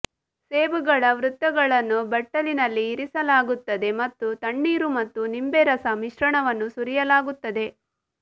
ಸೇಬುಗಳ ವೃತ್ತಗಳನ್ನು ಬಟ್ಟಲಿನಲ್ಲಿ ಇರಿಸಲಾಗುತ್ತದೆ ಮತ್ತು ತಣ್ಣೀರು ಮತ್ತು ನಿಂಬೆ ರಸ ಮಿಶ್ರಣವನ್ನು ಸುರಿಯಲಾಗುತ್ತದೆ